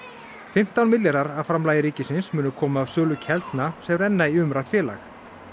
fimmtán milljarðar af framlagi ríkisins munu koma af sölu Keldna sem renna inn í umrætt félag